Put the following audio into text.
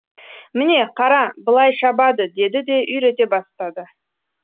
міне қара былай шабады деді де үйрете бастады